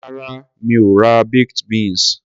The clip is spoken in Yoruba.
Rárá, mi ò ra baked beans.